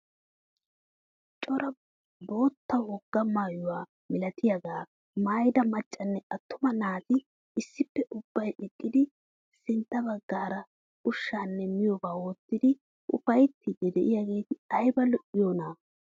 Cora bootta wogaa maayuwaa milatiyaaga maayida maccanne attuma naati issippe ubbay eqqidi sintta baggaara ushshaanne miyoobaa wottidi ufayttiidi de'iyaageti ayba lo"iyoonaa!